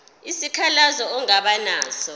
isikhalazo ongaba naso